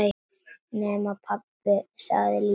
Nema, pabbi, sagði lítið barn.